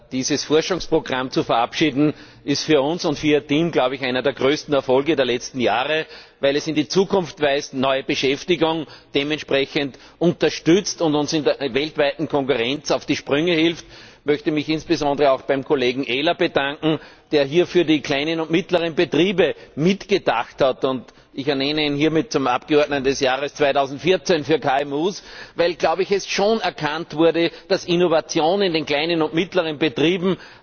Dieses Forschungsprogramm zu verabschieden, ist für uns und für Ihr Team, glaube ich, einer der größten Erfolge der letzten Jahre, weil es in die Zukunft weist, neue Beschäftigung dementsprechend unterstützt und uns in der weltweiten Konkurrenz auf die Sprünge hilft. Ich möchte mich insbesondere auch beim Kollegen Ehler bedanken, der hier für die kleinen und mittleren Betriebe mitgedacht hat, und ich ernenne ihn hiermit zum Abgeordneten des Jahres 2014 für KMU, weil es schon erkannt wurde, dass Innovation in den kleinen und mittleren Betrieben